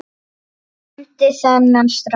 andi þennan strák.